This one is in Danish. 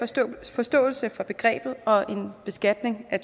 forståelse af begrebet og en beskatning af